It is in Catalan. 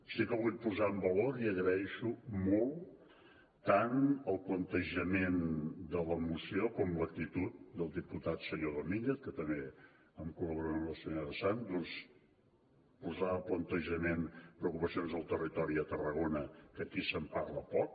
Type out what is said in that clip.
sí que vull posar en valor i li agraeixo molt tant el plantejament de la moció com l’actitud al diputat senyor domínguez que també a la col·laboració de la senyora sans posava a plantejament preocupacions del territori de tarragona que aquí se’n parla poc